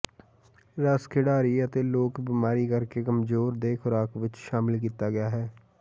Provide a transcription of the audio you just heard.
ਰਸ ਖਿਡਾਰੀ ਅਤੇ ਲੋਕ ਬੀਮਾਰੀ ਕਰਕੇ ਕਮਜ਼ੋਰ ਦੇ ਖੁਰਾਕ ਵਿੱਚ ਸ਼ਾਮਿਲ ਕੀਤਾ ਗਿਆ ਹੈ